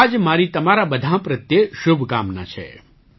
આ જ મારી તમારા બધાં પ્રત્યે શુભકામના છે